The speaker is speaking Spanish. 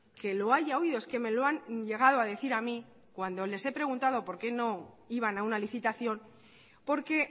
que lo haya oído es que me lo han llegado a decir a mí cuando les he preguntado porque no iban a una licitación porque